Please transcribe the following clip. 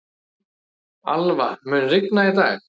Alva, mun rigna í dag?